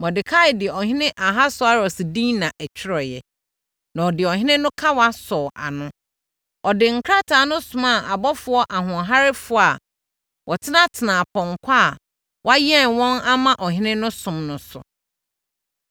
Mordekai de Ɔhene Ahasweros din na ɛtwerɛeɛ, na ɔde ɔhene no kawa sɔɔ ano. Ɔde nkrataa no somaa abɔfoɔ ahoɔherɛfoɔ a wɔtenatenaa apɔnkɔ a wɔayɛn wɔn ama ɔhene no som no so.